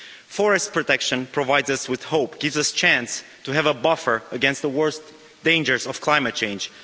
Forest protection provides us with hope, gives us a chance to have a buffer against the worst dangers of climate change.